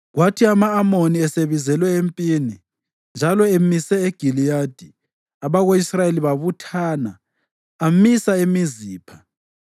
Kwathi ama-Amoni esebizelwe empini njalo emise eGiliyadi, abako-Israyeli abuthana amisa eMizipha.